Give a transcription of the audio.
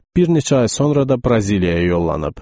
Bir neçə ay sonra da Braziliyaya yollanıb.